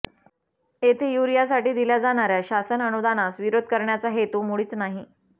येथे युरियासाठी दिल्या जाणाऱ्या शासन अनुदानास विरोध करण्याचा हेतू मुळीच नाही